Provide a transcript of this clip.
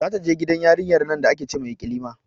Za ta je gidan yarinyar nan da ake ce ma ikilima